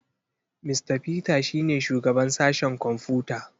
Mista Peter shi ne shugaban sashen kwamfuta.